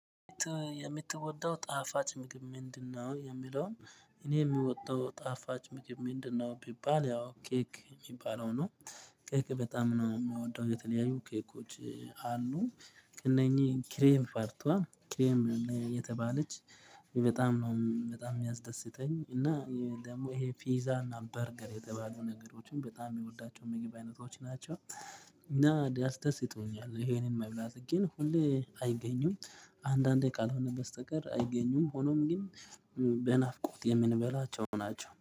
የምትወደው ጣፋጭ ምግብ ምንድነው? የሚለውን እኔ የሚወደው ጣፋጭ ምግብ ምንድነው ቢባል ያው ኬክ የሚባለው ነው። ኬክ በጣም ነው የምወደው የተለያዩ ኬኮች አሉ። እነኚህ ክሬም ፋርቷ ክሬም የተባለች በጣም ነው በጣም የሚያስደስተኝ እና ደግሞ ይሄ ፒዛ እና በርገር የተባሉ ነገሮችን በጣም የሚወዳቸው ምግብ አይነቶች ናቸው። እና ያስደስቱኛል ይሄንን መብላት ግን ሁሌ አይገኙም አንዳንዴ ካልሆነ በስተቀር አይገኙም። ሆኖም ግን በናፍቆት የምንበላቸው ናቸው